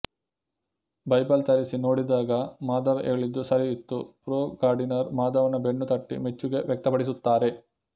Bible ತರಿಸಿ ನೋಡಿದಾಗ ಮಾಧವ ಹೇಳಿದ್ದು ಸರಿ ಇತ್ತು ಪ್ರೊ ಗಾರ್ಡಿನರ್ ಮಾಧವನ ಬೆನ್ನು ತಟ್ಟಿ ಮೆಚ್ಚುಗೆ ವ್ಯಕ್ತಪಡಿಸುತ್ತಾರೆ